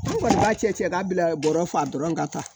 Ne kɔni b'a cɛ k'a bila bɔrɔ fa dɔrɔn ka taa